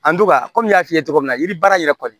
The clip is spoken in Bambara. An don ka komi n y'a f'i ye cogo min na yiri baara yɛrɛ kɔni